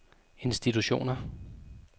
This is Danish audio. institutioner